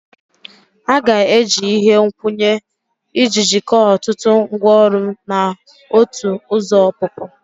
A ga-eji ihe nkwụnye iji jikọọ ọtụtụ ngwaọrụ na otu ụzọ ọpụpụ